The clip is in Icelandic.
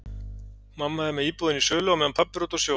Mamma er með íbúðina í sölu á meðan pabbi er úti á sjó.